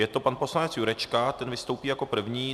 Je to pan poslanec Jurečka, ten vystoupí jako první.